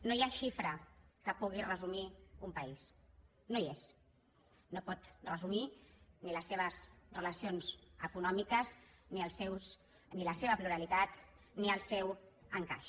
no hi ha xifra que pugui resumir un país no hi és no pot resumir ni les seves relacions econòmiques ni la seva pluralitat ni el seu encaix